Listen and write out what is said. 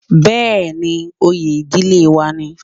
Bẹ́ẹ̀ni, oyè ìdílé wa ni